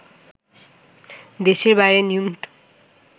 দেশের বাইরে নিয়মিত